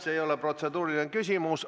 See ei ole protseduuriline küsimus.